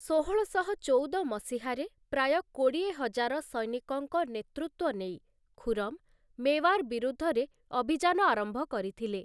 ଷୋହଳଶହ ମସିହାରେ ପ୍ରାୟ କୋଡିଏ ହଜାର ସୈନିକଙ୍କ ନେତୃତ୍ୱ ନେଇ ଖୁରମ୍ ମେୱାର ବିରୁଦ୍ଧରେ ଅଭିଯାନ ଆରମ୍ଭ କରିଥିଲେ ।